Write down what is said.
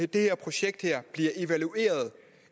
det projekt her bliver evalueret